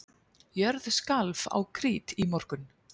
Jörð skalf á Krít í morgun